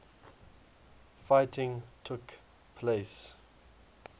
fighting took place